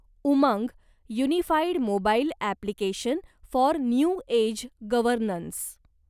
Umang unified mobile application for new age governance